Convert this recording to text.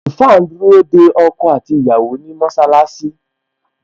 Àlùfáà ń dúró de ọkọ àti ìyàwó ni mọṣálásí